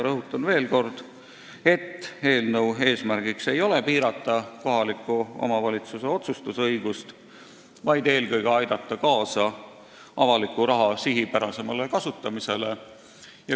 Rõhutan veel kord, et eelnõu eesmärk ei ole piirata kohaliku omavalitsuse otsustusõigust, vaid eelkõige aidata kaasa avaliku raha sihipärasemale kasutamisele.